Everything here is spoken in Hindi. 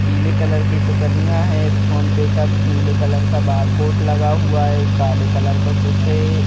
पीले कलर की टुकनियां है फोन पे का नीले कलर का बारकोड लगा हुआ है काले कलर का कुछ है।